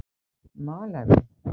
Malaví